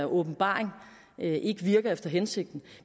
åbenbaring ikke virker efter hensigten